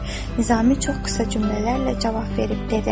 Nizami çox qısa cümlələrlə cavab verdi.